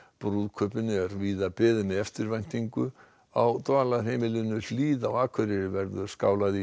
brúðkaupinu er víða beðið með eftirvæntingu á Dvalarheimilinu Hlíð á Akureyri verður skálað í